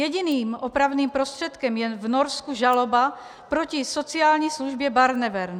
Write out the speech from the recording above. Jediným opravným prostředkem je v Norsku žaloba proti sociální službě Barnevern.